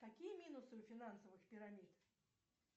какие минусы у финансовых пирамид